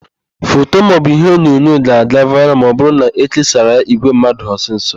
Foto maọbụ iheonyonyo ga-aga vaịral ma ọbụrụ na ékésaara ya ìgwè mmadụ ọsịsọ.